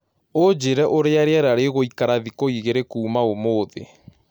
Unjĩreũrĩa rĩera rĩgũĩkara thĩkũĩgĩrĩ kũmaũmũthĩ